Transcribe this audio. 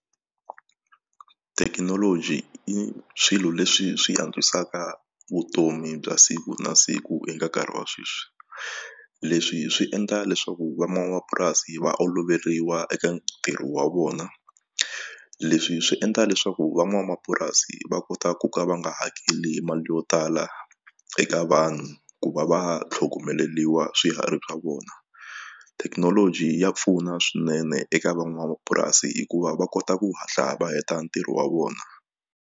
Thekinoloji i swilo leswi swi antswisaka vutomi bya siku na siku eka nkarhi wa sweswi leswi swi endla leswaku van'wamapurasi va oloveriwa eka ntirho wa vona leswi swi endla leswaku van'wamapurasi va kota ku ka va nga hakeli mali yo tala eka vanhu ku va va tlhogomeriwa swiharhi bya vona thekinoloji ya pfuna swinene eka van'wamapurasi hikuva va kota ku hatla va heta ntirho wa vona.